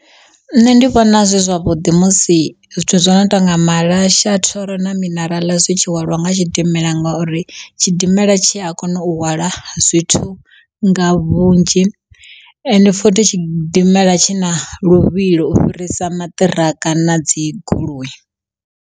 Nṋe ndi vhona zwi zwavhuḓi musi zwithu zwi no tonga malasha, thoro na mineraḽa zwi tshihwalwa nga tshidimela ngori tshidimela tshi a kona u hwala zwithu nga vhunzhi ende futhi tshidimela tshi na luvhilo u fhirisa maṱiraka na dzi goloi.